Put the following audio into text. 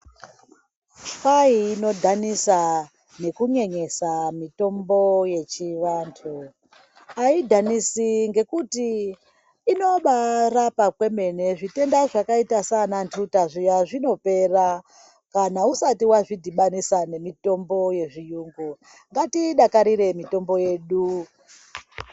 Kwai inodhanisa nekunyenyisa mitombo yechivantu, ayidhanisi ngokuti inobayi rapa kwemene zvitenda zvakaita saana nduta zviya zvinopera kana isati wazvidhibanisa nemitombo yezviyungu ngatiidakarire mitombo yedu